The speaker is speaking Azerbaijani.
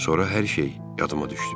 Sonra hər şey yadıma düşdü.